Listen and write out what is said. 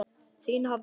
Þín Hafdís.